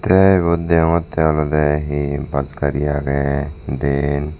tey ibot deongonttey olodey hi bus gari agey dyen.